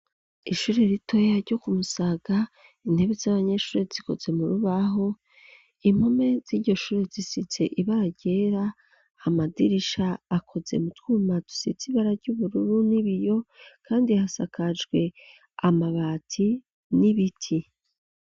Ishuri ritoya ryo kumusaga intebe z'abanyeshure zikoze mu rubaho impome z'iryo shure zisitse ibara ryera amadirisha akoze mu twumatusizibara ry'ubururu n'ibiyo, kandi hasakajwe amabati n'ibiti.